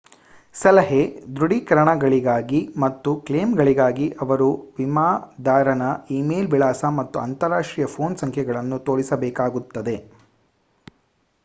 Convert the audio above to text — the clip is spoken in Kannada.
ಸಲಹೆ/ದೃಢೀಕರಣಗಳಿಗಾಗಿ ಮತ್ತು ಕ್ಲೇಮ್‌ಗಳಿಗಾಗಿ ಅವರು ವಿಮಾದಾರನ ಈಮೇಲ್ ವಿಳಾಸ ಮತ್ತು ಅಂತರಾಷ್ಟ್ರೀಯ ಪೋನ್ ಸಂಖ್ಯೆಗಳನ್ನು ತೋರಿಸಬೇಕಾಗುತ್ತದೆ